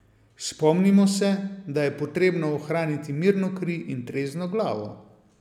Spomnimo se, da je potrebno ohraniti mirno kri in trezno glavo.